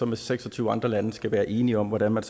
med seks og tyve andre lande skal være enige om hvordan man